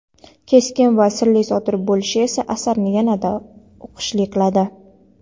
keskin va sirli sodir bo‘lishi esa asarni yanada o‘qishli qiladi.